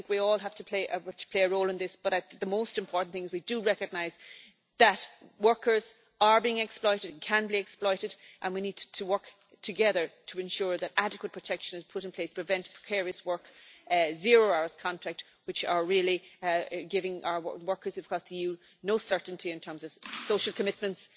I think we all have to play a role in this, but the most important thing is that we do recognise that workers are being exploited and can be exploited, and we need to work together to ensure that adequate protection is put in place to prevent precarious work, particularly zero-hours contracts, which are really giving our workers across the EU no certainty in terms of social commitments